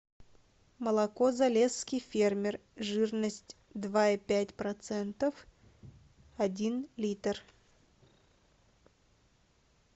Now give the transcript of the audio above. молоко залесский фермер жирность два и пять процентов один литр